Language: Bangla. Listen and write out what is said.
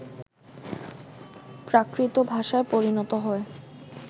প্রাকৃত ভাষায় পরিণত হয়